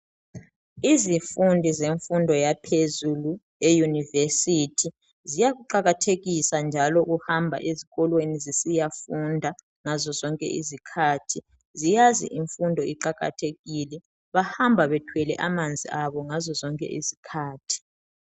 Izifundi zemfundo yaphezulu eyunivesiti ziyakuqakathekisa njalo ukuhamba ezikolweni zisiyafunda ngazo zonke izikhathi. Ziyazi imfundo iqakathekile. Bahamba bethwele amanzi abo ngazo zonke izikhathi.